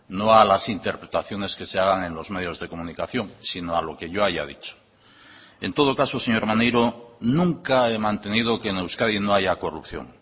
no a las interpretaciones que se hagan en los medios de comunicación sino a lo que yo haya dicho en todo caso señor maneiro nunca he mantenido que en euskadi no haya corrupción